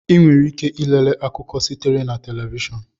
Ị nwere ike ilele akụkọ sitere na telivishọn